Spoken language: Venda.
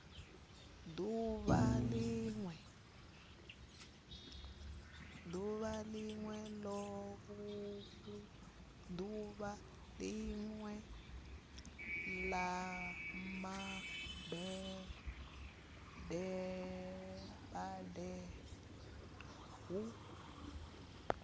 ḓuvha ḽawe ḽa mabebo hu